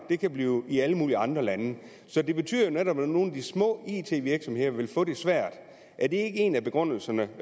det kan blive i alle mulige andre lande så det betyder jo netop at nogle af de små it virksomheder vil få det svært er det ikke en af begrundelserne